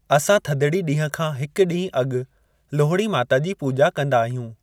असां थदणी ॾींहुं खां हिकु ॾींहुं अॻु लोहड़ी माता जी पूॼा कंदा आहियूं।